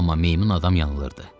Amma meymun adam yanılırdı.